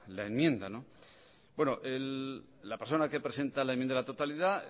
la enmienda bueno la persona que presenta la enmienda a la totalidad